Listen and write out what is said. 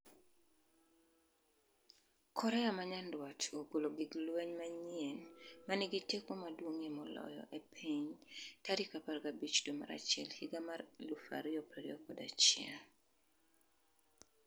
Korea ma Nyanduat ogolo gig lweny manyien 'ma nigi teko maduong'ie moloyo e piny' tarik 15 dwe mar achiel higa mar 2021